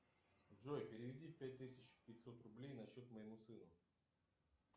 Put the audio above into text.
джой переведи пять тысяч пятьсот рублей на счет моему сыну